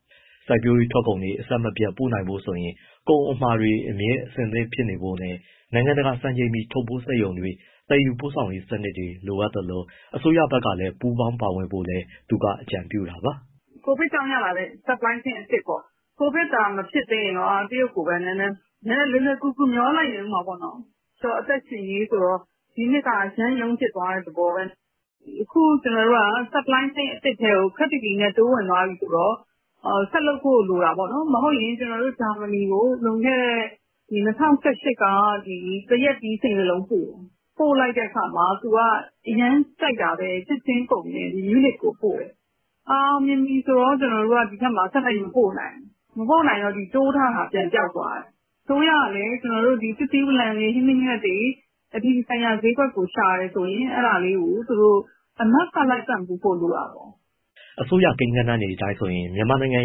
။ စိုက်ပျိုးရေး ထွက်ကုန်တွေ အဆက်မပြတ် ပို့နိုင်ဖို့ဆိုရင် ကုန်အမှာအတွက် အမြဲအဆင်သင့် ဖြစ်နေဖို့နဲ့ နိုင်ငံတကာ စံချိန်မီ ထုတ်ပိုးစက်ရုံတွေ၊ သယ်ယူရေးစနစ်တွေ လိုသလို အစိုးရဘက်ကလည်း ပူးပေါင်းပါဝင်ဖို့လည်း သူက အကြံပြုတာပါ။ “ကိုဗစ်ကြောင့် ရလာတဲ့ supply chain အသစ်ပေါ့။ ကိုဗစ်သာ မဖြစ်သေးရင်တော့ တရုတ်ကိုပဲ နည်းနည်း လွယ်လွယ်ကူကူ မျှောလိုက်နေဦးမှာပေါ့။ အသက်ရှင်ရေးဆိုတော့ ဒီနှစ်က အရမ်းရုန်းဖြစ်သွားတဲ့ သဘောပဲ။ အခုကျမတို့က supply chain အသစ်တခုထဲကို ခပ်တည်တည်နဲ့ တိုးဝင်သွားပြီဆိုတော့ ဆက်လုပ်ဖို့ လိုတာပေါ့နော်၊ မဟုတ်ရင် ကျမတို့ Germany ကို လွန်ခဲ့တဲ့ ၂၀၁၈ က သရက်သီး စိန်တလုံး ပို့လိုက်တဲ့အခါမှာ သူက အရမ်းကြိုက်တာပဲ၊ မြူးနစ်မြို့ကိုပို့တာ။ အောင်မြင်ပြီဆိုတော့ ကျမတို့က ဒီဘက်မှာ ဆက်လက်ပြီး မပို့နိုင်ဘူး။ မပို့နိုင်တော့ ဒီဘက်မှာ တိုးထားတာ ပြန်ပျောက်သွားတယ်။ အစိုးရကလည်း သစ်သီးဝလံတွေ ဟင်းသီးဟင်းရွက်တွေ အပြည်ပြည်ဆိုင်ရာ ဈေးကွက်ကို ရှာတယ်ဆိုရင် အဲဒါလေးကို သူတို့ အနောက်က လိုက်ပံ့ပိုးပေးဖို့ လိုတာပေါ့။” အစိုးရကိန်းဂဏန်းတွေအတိုင်းဆိုရင် မြန်မာနိုင်ငံ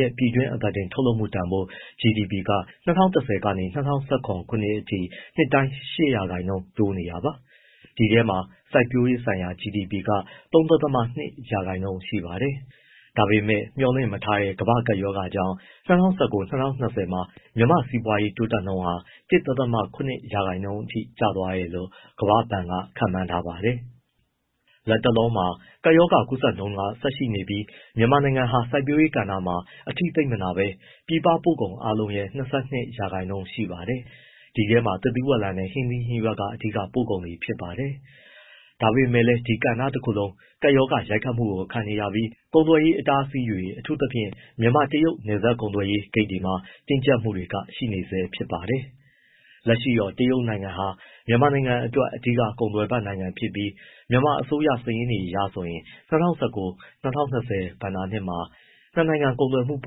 ရဲ့ ပြည်တွင်းအသားတင် ထုတ်လုပ်မှုတန်ဖိုး ၂၀၁၀ ကနေ ၂၀၁၇ ခုနှစ်အထိ နှစ်တိုင်း ၈ ရာခိုင်နှုန်း တိုးတက်နေတာပါ။ ဒီထဲမှာ စိုက်ပျိုးရေးဆိုင်ရာ GDP က ၃.၂ ရာခိုင်နှုန်းရှိပါတယ်။ ဒါပေမဲ့ မျှော်လင့်မထားတဲ့ ကမ္ဘာ့ကပ်ရောဂါကြောင့် ၂၀၁၉-၂၀၂၀ မှာ မြန်မာ့စီးပွားရေးတိုးတက်နှုန်းဟာ ၁.၇ ရာခိုင်နှုန်းအထိ ကျသွားနိုင်တယ်လို့ ကမ္ဘာ့ဘဏ်က ခန့်မှန်းထားပါတယ်။ လတ်တလော ကပ်ရောဂါကူးစက်နှုန်း ဆက်ပြီးရှိနေပေမဲ့လည်း မြန်မာနိုင်ငံဟာ စိုက်ပျိုးရေးကဏ္ဍမှာ အထိသိပ်မနာဘဲ ပြည်ပပို့ကုန်အားလုံးရဲ့ ၂၂ ရာခိုင်နှုန်း ရှိပါတယ်။ ဒီထဲမှာ သစ်သီးဝလံနဲ့ ဟင်းသီးဟင်းရွက်က အဓိက ပို့ကုန်တွေပါ။ ဒါပေမဲ့လည်း ဒီကဏ္ဍတခုလုံး ကပ်ရောဂါ ရိုက်ခတ်မှုကို ခံနေရပြီး ကုန်သွယ်ရေး အတားအဆီးတွေ အထူးသဖြင့် မြန်မာ-တရုတ် နယ်စပ်ကုန်သွယ်ရေး ဂိတ်တွေမှာ တင်းကျပ်မှုတွေရှိနေဆဲ ဖြစ်ပါတယ်။ လက်ရှိတော့ တရုတ်ဟာ မြန်မာနိုင်ငံအတွက် အဓိကကုန်သွယ်ဖက်နိုင်ငံဖြစ်ပြီး မြန်မာအစိုးရ စာရင်းအရဆိုရင် ၂၀၁၉-၂၀၂၀ ဘဏ္ဍာနှစ်မှာ နှစ်နိုင်ငံ ကုန်သွယ်မှုပ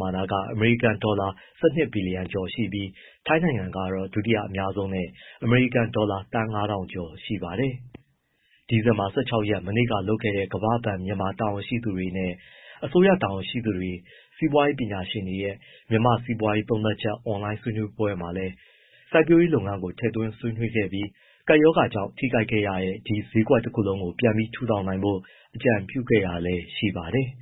မာဏ အမေရိကန်ဒေါ်လာ ၁၂ ဘီလီယံကျော် ရှိပြီး ထိုင်းနိုင်ငံက ဒုတိယ အများဆုံးနဲ့ အမေရိကန်ဒေါ်လာ သန်း ၅,၀၀၀ ကျော် ရှိပါတယ်။ ဒီဇင်ဘာလ ၁၆ ရက် မနေ့ကလုပ်ခဲ့တဲ့ ကမ္ဘာ့ဘဏ် တာဝန်ရှိသူတွေနဲ့ အစိုးရတာဝန်ရှိသူတွေ၊ စီးပွားရေးပညာရှင်တွေရဲ့ မြန်မာ့စီးပွားရေး သုံးသပ်ချက် အွန်လိုင်းဆွေးနွေးပွဲမှာလည်း စိုက်ပျိုးရေးလုပ်ငန်းကို ထည့်သွင်းဆွေးနွေးခဲ့ပြီး ကပ်ရောဂါကြောင့် ထိခိုက်ခဲ့ရတဲ့ ဒီဈေးကွက်တခုလုံး ပြန်ပြီး ထူထောင်နိုင်ဖို့ အကြံပြုခဲ့တာလည်း ရှိပါတယ်။